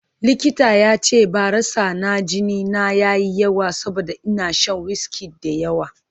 Likita ya ce barasa na jini na ya yi yawa saboda ina shan wiski da yawa